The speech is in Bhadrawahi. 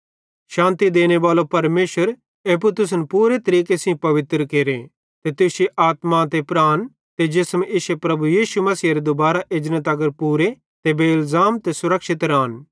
शान्ति देनेबालो परमेशरे एप्पू तुसन पूरे तरीके सेइं पवित्र केरे ते तुश्शी आत्मा ते प्राण ते जिसम इश्शे प्रभु यीशु मसीहेरे दुबारां एजने तगर पूरे ते बेइलज़ाम ते सुरक्षित रान